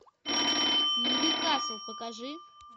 нью касл покажи